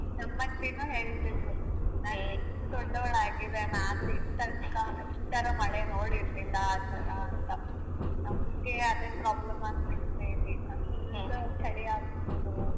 ನಮ್ಮಜ್ಜಿನು ಹೇಳ್ತಿದ್ರು ನಾನು ಇಷ್ಟು ದೊಡ್ಡವಳಾಗಿದೆನೆ ಆದ್ರು ಇಂತ ಒಂದು ಕಾಲ ಈ ತರ ಮಳೆ ನೋಡಿರ್ಲಿಲ್ಲ ಆ ತರ ಅಂತ ನಮ್ಗೆ ಅದೆ problem ಆಗ್ಬಿಡ್ತದೆ ಇಲ್ಲಿ ಚಳಿ ಆಗುವುದು.